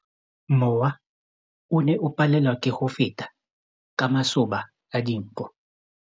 Mowa o ne o palelwa ke go feta ka masoba a dinko.